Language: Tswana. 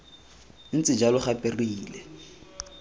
ntse jalo gape re ile